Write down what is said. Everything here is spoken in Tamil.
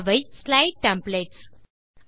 அவை ஸ்லைடு டெம்ப்ளேட்ஸ்